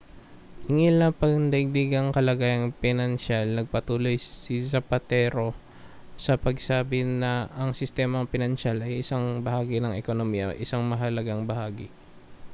hinggil sa pangdaigdigang kalagayang pinansiyal nagpatuloy si zapatero sa pagsasabi na ang sistemang pinansyal ay isang bahagi ng ekonomiya isang mahalagang bahagi